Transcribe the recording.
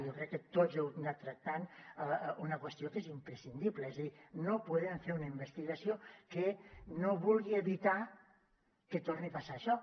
jo crec que tots heu anat tractant una qüestió que és imprescindible és a dir no podem fer una investigació que no vulgui evitar que torni a passar això